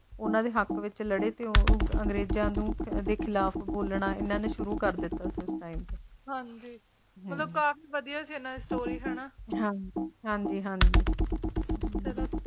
ਉਨ੍ਹਾਂ ਦੇ ਹੱਕ ਨਿੱਤ ਲੜੇ ਤੂੰ ਉਹ ਅੰਗਰੇਜ਼ਾਂ ਦੇ ਖ਼ਿਲਾਫ਼ ਬੋਲਣਾ ਸ਼ੁਰੂ ਕਰ ਦਿੱਤਾ ਹਾਂ ਜੀ ਬੇਮਤਲਬ ਕਾਫ਼ੀ ਵੱਧੀ ਹੈ ਇਨ੍ਹਾਂ ਦੀ ਸਟੋਰੀ ਹਾਂ ਜੀ ਹਾਂ ਜੀ ਚਲੋ